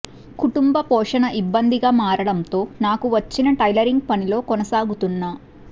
కుటుంబ పోషణ ఇబ్బందిగా మారడంతో నాకు వచ్చిన టైలరింగ్ పనిలో కొనసాగుతున్నా